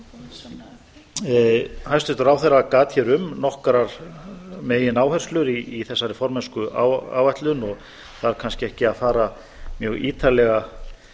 þeim málaflokki hæstvirtur ráðherra gat hér um nokkrar megin áherslur í þessari formennskuáætlun og þarf kannski ekki að fara mjög ítarlega